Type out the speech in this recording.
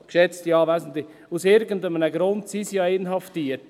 Geschätzte Anwesende, aus irgendeinem Grund sind sie ja inhaftiert.